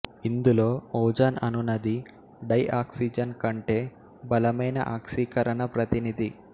ఇందులో ఓజోన్ అనునది డైఆక్సిజన్ కంటే బలమైన ఆక్సీకరణ ప్రతినిధి